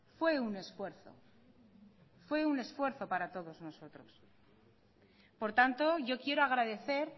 fue un esfuerzo fue un esfuerzo para todos nosotros por tanto yo quiero agradecer